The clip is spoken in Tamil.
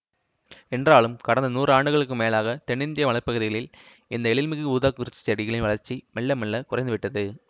என்றாலும் கடந்த நூறு ஆண்டுகளுக்கு மேலாகத்தென்னிந்திய மலை பகுதிகளில் இந்த எழில்மிகு ஊதாக்குறிஞ்சி செடிகளின் வளர்ச்சி மெல்லமெல்லக் குறைந்துவிட்டது